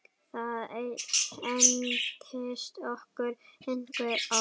Það entist okkur einhver ár.